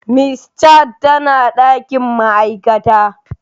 Miss Chat tana dakin ma'aikata.